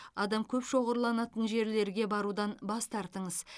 адам көп шоғырланатын жерлерге барудан бас тартыңыз